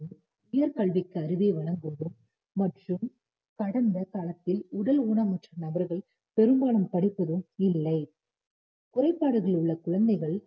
உயர்கல்விக்கு அருகே மற்றும் கடந்த காலத்தில் உடல் ஊனமுற்ற நபர்கள் பெரும்பாலும் படிப்பதும் இல்லை குறைபாடுகள் உள்ள குழந்தைகள்